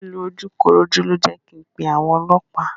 Lílù ojúkorojú ló jẹ́ kin pé àwọn ọlọ́pàá.